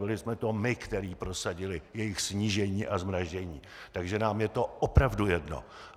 Byli jsme to my, kteří prosadili jejich snížení a zmrazení, takže nám je to opravdu jedno!